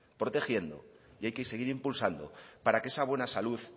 protegiendo y hay que seguir impulsando para que esa buena salud